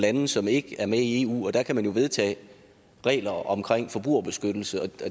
lande som ikke er med i eu og der kan man vedtage regler om forbrugerbeskyttelse det